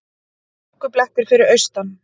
Hálkublettir fyrir austan